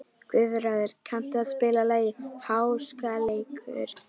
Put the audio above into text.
Guðráður, kanntu að spila lagið „Háskaleikur“?